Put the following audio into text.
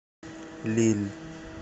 лилль